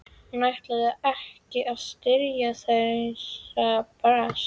Hún ætlaði ekki að styrkja þeirra brask!